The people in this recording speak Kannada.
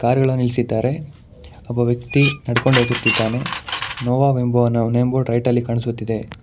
ಕಾರುಗಳು ನಿಲ್ಲಿಸಿದ್ದಾರೆ ಒಬ್ಬ ವ್ಯಕ್ತಿ ನಡೆದುಕೊಂಡು ಹೋಗುತ್ತಿದ್ದಾನೆ ನೋವಾ ಎಂಬ ನೇಮ್ ಬೋರ್ಡ್ ರೈಟಲ್ಲಿ ಕಾಣಿಸುತ್ತಿದೆ.